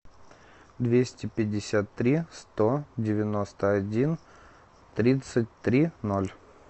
двести пятьдесят три сто девяносто один тридцать три ноль